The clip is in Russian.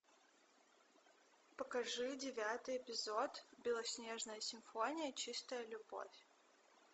покажи девятый эпизод белоснежная симфония чистая любовь